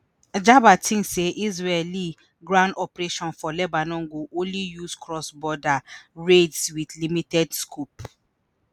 Jabber tink say israeli ground operations for lebanon go only use cross border raids wit limited scope